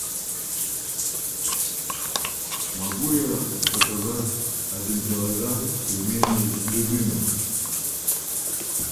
могу я заказать один килограмм пельменей любимых